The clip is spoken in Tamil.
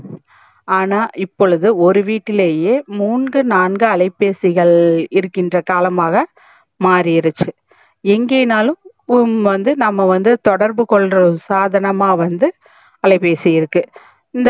ஆனா இப்பொழுது ஒரு வீட்டுலையே மூன்ங்கு நான்கு அலைபேசிகள் இருகின்ற காலமாக மாரிருச்சி ஏங்கே நாலும் வந்து நம்ப வந்து தொடர்பு கொல்ற சாதனமா வந்து அலைபேசி இருக்கு